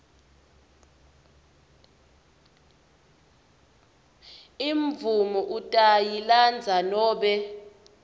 imvumo utayilandza nobe